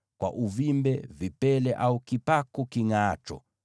kwa uvimbe, vipele au kipaku kingʼaacho,